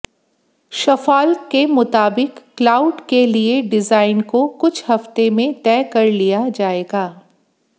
शफॉल्क के मुताबिक क्लाउड के लिए डिजायन को कुछ हफ्ते में तय कर लिया जाएगा